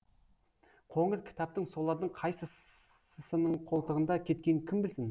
қоңыр кітаптың солардың қайсысының қолтығында кеткенін кім білсін